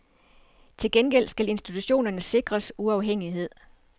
Til gengæld skal institutionerne sikres uafhængighed.